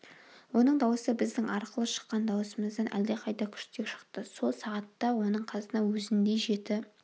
оның дауысы біздің арқылы шыққан даусымыздан әлдеқайда күштірек шықты сол сағатта оның қасына өзіндей жеті